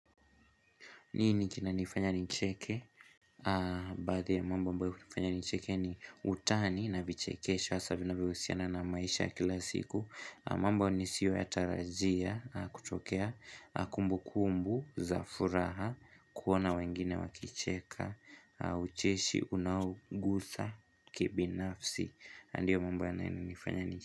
Nini kinanifanya nicheke? Baadhi ya mambo ambayo hufanya ni nicheke ni utani na vichekesho hasa vinavyohusiana na maisha kila siku mambo nisiyo yatarajia kutokea kumbu kumbu za furaha kuona wengine wakicheka ucheshi unaogusa kibinafsi na ndiyo mambo yanayonifanya nicheke.